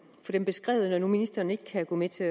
beskrevet når nu ministeren ikke kan gå med til